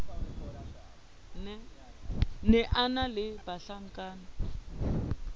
ne a na le bahlankana